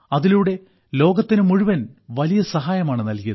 അതിലൂടെ ലോകത്തിനു മുഴുവൻ വലിയ സഹായമാണ് നൽകിയത്